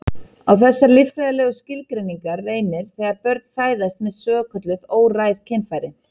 Á þessar líffræðilegu skilgreiningar reynir þegar börn fæðast með svokölluð óræð kynfæri.